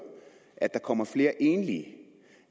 at der kommer flere enlige